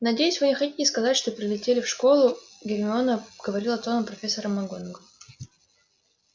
надеюсь вы не хотите сказать что прилетели в школу гермиона говорила тоном профессора макгонагалл